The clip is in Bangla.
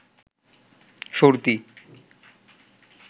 সর্দি